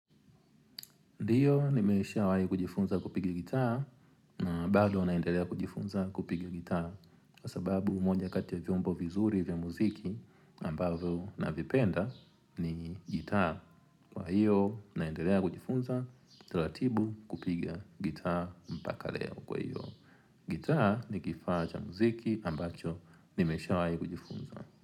Ndiyo nimeshawahi kujifunza kupigi gitaa, bado naendelea kujifunza kupigia gitaa. Kwa sababu, moja kati ya vyombo vizuri vya muziki ambavyo navipenda ni gitaa. Kwa hiyo, naendelea kujifunza, taratibutibu kupigz gitaa mpaka leo kwa hiyo. Gitaa ni kifaa cha muziki ambacho nimeshawahi kujifunza.